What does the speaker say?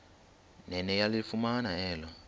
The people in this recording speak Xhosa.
nene yalifumana elo